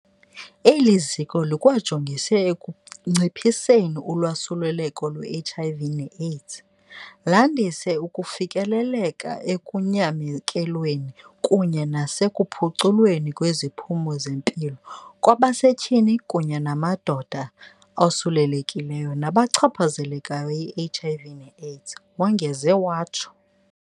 "Eli ziko likwajolise ekunciphiseni usuleleko lwe-HIV ne-AIDS, landise ukufikelela ekunyamekelweni kunye nasekuphuculweni kweziphumo zempilo kwabasetyhini kunye namadoda osulelekileyo nabachaphazelekayo yi-HIV ne-AIDS," wongeze watsho.